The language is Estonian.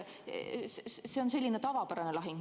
See on selline tavapärane lahing.